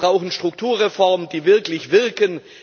Wir brauchen Strukturreformen, die wirklich wirken.